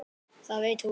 Það veit hún.